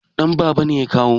Danbaba ne ya kawo